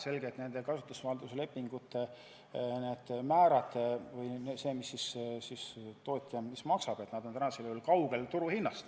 Selge, et kasutusvalduse lepingute määrad või see, mis tootja maksab, on täna kaugel turuhinnast.